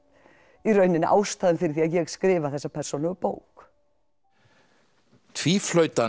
í rauninni ástæðan fyrir því að ég skrifa þessa persónulegu bók